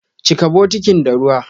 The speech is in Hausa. Chika bukitin da ruwa!